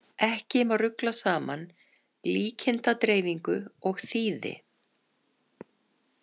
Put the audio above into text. Ekki má rugla saman saman líkindadreifingu og þýði.